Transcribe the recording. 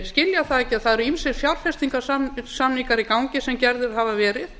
skilja það ekki að það eru ýmsir fjárfestingarsamningar í gangi sem gerðir hafa verið